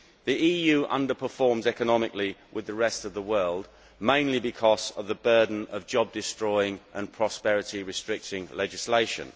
The EU underperforms economically with the rest of the world, mainly because of the burden of job destroying and prosperity restricting legislation.